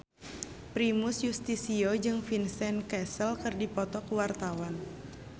Primus Yustisio jeung Vincent Cassel keur dipoto ku wartawan